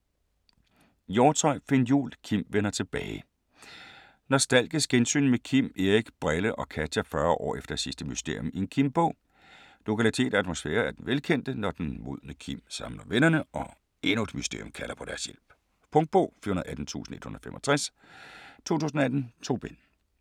Hjortsøe, Finn Jul: Kim vender tilbage Nostalgisk gensyn med Kim, Erik, "Brille" og Katja 40 år efter sidste mysterium i en Kim-bog. Lokalitet og atmosfære er den velkendte, når den modne Kim samler vennerne, og endnu et mysterium kalder på deres hjælp. Punktbog 418165 2018. 2 bind.